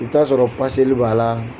I bi t'a sɔrɔ paseli b'a la.